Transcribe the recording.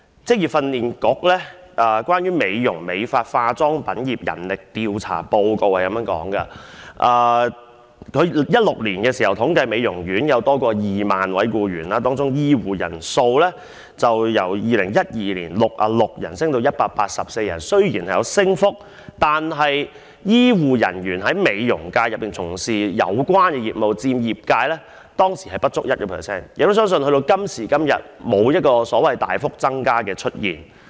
職業訓練局進行有關美容、美髮及化妝品業的人力調查報告顯示，在2016年，美容業界有超過 20,000 名僱員，當中醫護人員的人數由2012年的66人上升至184人，雖然有升幅，但從事有關業務的醫護人員佔當時的業界從業員人數不足 1%， 我亦相信至今也沒有大幅增加。